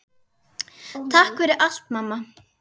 Takk fyrir allt, mamma.